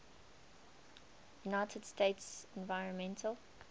united states environmental